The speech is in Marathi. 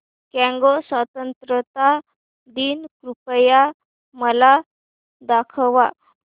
कॉंगो स्वतंत्रता दिन कृपया मला दाखवा